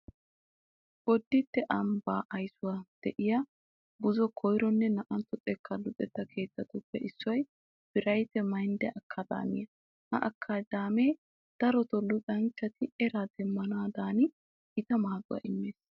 Bodditte ambbaa aysuwan de'iya buzo1ronne 2tto xekkaa luxetta keettatuppe issoy birayt maynd ee akkaadaamiya. Ha akkaadaamee daro luxanchchati eraa demmanaadan gita maaduwa immees.